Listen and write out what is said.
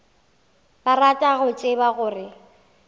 ba rata go tseba gore